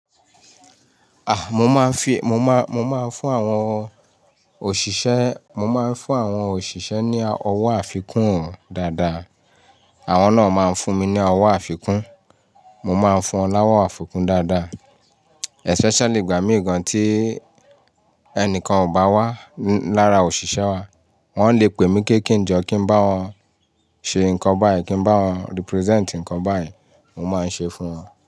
À, mo máa ń fi, mo máa, mo máa ń fún àwọn òṣìṣẹ́, mo máa ń fún àwọn òṣìṣẹ́ ní ọwọ́ àfikún o dáadáa. Àwọn náà máa ń fún mi ní ọwọ́ àfikún. Mo máa ń fún wọn láwọ́ àfikún dáadáa. Especially ìgbà míì gan tí ẹnìkan ò bá wá lára òṣìṣẹ́ wa. Wọ́n le pè mí pé kí n jọ kí n bá wọn ṣe nǹkan báyìí, kí n bá wọn represent nǹkan báyìí. Mo máa ń ṣe fún wọn.